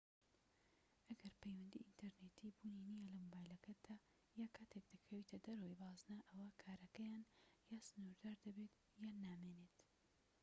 ئەگەر پەیوەندیی ئینتەرنێتیی بوونی نیە لە مۆبایلەکەتدا یان کاتێك دەکەویتە دەرەوەی بازنە ئەوا کارەکەیان یان سنوردار دەبێت یان نامێنێت